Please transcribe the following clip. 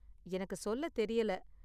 எனக்கு சொல்ல தெரியல.